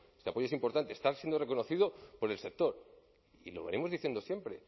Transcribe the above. este apoyo es importante está siendo reconocido por el sector y lo venimos diciendo siempre